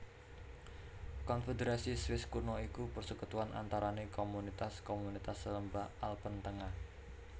Konfederasi Swiss Kuno iku persekutuan antarane komunitas komunitas lembah Alpen tengah